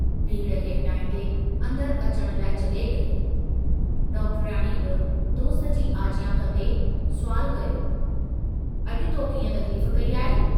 भीड़ खे हटाईंदे, अन्दर अचण लाइ जगहि कई, डॉक्टरयाणीअ बि दोस्त जी आजियां कन्दे सुवालु कयो, अजु तो कीअं तकलीफ़ कई आहे?